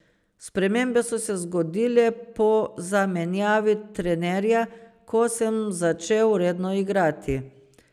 Spremembe so se zgodile po zamenjavi trenerja, ko sem začel redno igrati.